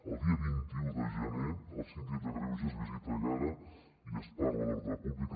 el dia vint un de gener el síndic de greuges visita egara i es parla d’ordre públic